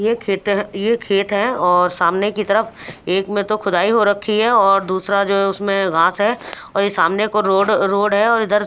ये खेत यह खेत है और सामने की तरफ एक में तो खुदाई हो रखी है और दूसरा जो है उसमें घास है और ये सामने को रोड रोड है और इधर--